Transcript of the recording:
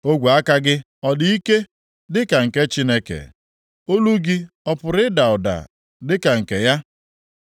Ogwe aka gị ọ dị ike dịka nke Chineke? Olu gị ọ pụrụ ịda ụda dịka nke ya?